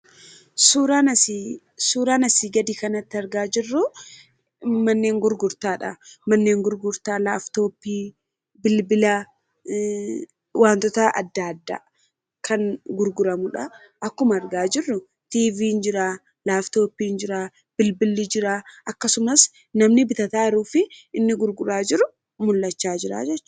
Suuraan asiin gadi kanatti argaa jirruu, manneen gurgurtaadha. Manneen gurgurtaa laapitooppii, bilbila waantota addaa addaa kan gurguramudhaa. Akkuma argaa jirru telavezyiiniin jiraa, laapitooppiin jiraa, bilbilli jiraa akkasumas namni bitataa jiruu fi namni gurguraa jiru mul'achaa jiru jechuudha.